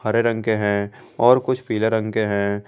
हरे रंग के हैं और कुछ पीले रंग के हैं।